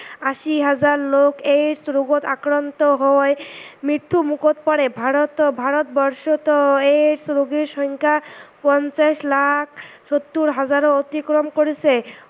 আশী হাজাৰ লোক AIDS ৰোগত আক্ৰান্ত হৈ মৃত্যু মোখত পৰে। ভাৰতত ভাৰত বৰ্ষতো AIDS ৰোগীৰ সংখ্যা পঞ্চাচ লাখ ষৌত্তৰ হাজাৰ অতিক্ৰম কৰিছে।